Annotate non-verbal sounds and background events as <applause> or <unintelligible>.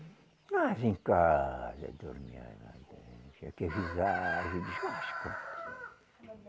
Ah, vinha em casa, dormia <unintelligible>